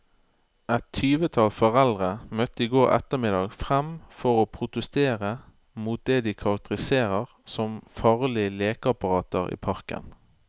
Et tyvetall foreldre møtte i går ettermiddag frem for å protestere mot det de karakteriserer som farlige lekeapparater i parken.